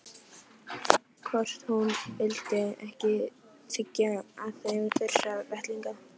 Hvort hún vildi ekki þiggja af þeim þurra vettlinga.